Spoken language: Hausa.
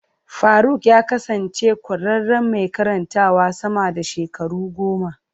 Faruk ya kasance ƙwararren mai karantawa sama da shekaru goma.